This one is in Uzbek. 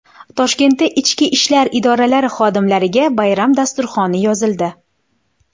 Toshkentda Ichki ishlar idoralari xodimlariga bayram dasturxoni yozildi.